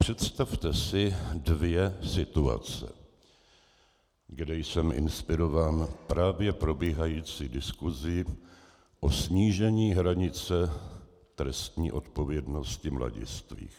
Představte si dvě situace, kde jsem inspirován právě probíhající diskusí o snížení hranice trestní odpovědnosti mladistvých.